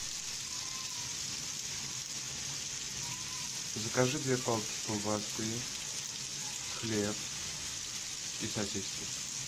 закажи две палки колбасы хлеб и сосиски